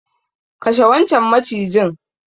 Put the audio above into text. Kashe wancan macijin.